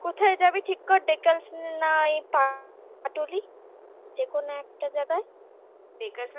কোথায় যাবি ঠিক কর dacres lane নাই পাটুলি যেকোনো একটা জায়গায়